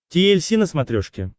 ти эль си на смотрешке